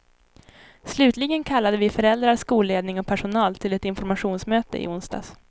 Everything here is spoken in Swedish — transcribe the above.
Slutligen kallade vi föräldrar, skolledning och personal, till ett informationsmöte i onsdags.